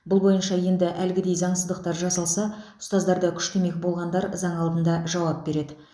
бұл бойынша енді әлгідей заңсыздықтар жасалса ұстаздарды күштемек болғандар заң алдында жауап береді